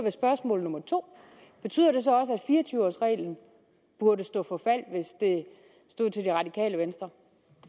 spørgsmål nummer to at fire og tyve års reglen burde stå for fald hvis det stod til det radikale venstre